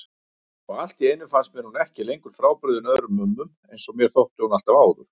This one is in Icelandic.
Og alltíeinu finnst mér hún ekki lengur frábrugðin öðrum mömmum einsog mér þótti alltaf áður.